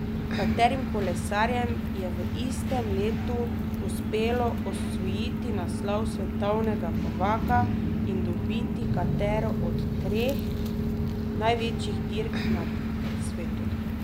Katerim kolesarjem je v istem letu uspelo osvojiti naslov svetovnega prvaka in dobiti katero od treh največjih dirk na svetu?